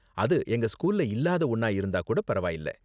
அது எங்க ஸ்கூல்ல இல்லாத ஒன்னா இருந்தா கூட பரவாயில்ல.